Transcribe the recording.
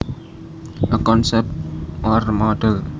A concept or model